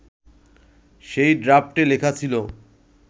সেই ড্রাফটে লেখা ছিলো